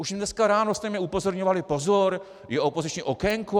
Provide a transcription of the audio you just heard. Už dneska ráno jste mě upozorňovali: Pozor, je opoziční okénko.